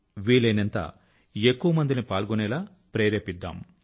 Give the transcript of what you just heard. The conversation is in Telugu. వీలయినంత ఎక్కువ మందిని పాల్గొనేలా ప్రేరేపిద్దాం